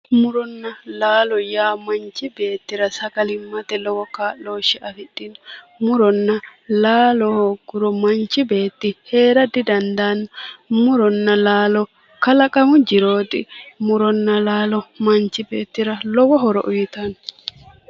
Muronna laalo yaa manchi beettira sagalimmate lowo kaa'looshshe afidhino muronna laalo hoogguro manchi beetti heera didandaanno muronna laalo kalaqamu jirooti muronna laalo manchi beettira lowo horo uyitanno